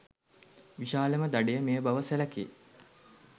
විශාලම දඩය මෙය බව සැලකේ.